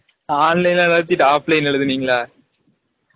online வாச்சு offline ல எலுதுனிங்கலா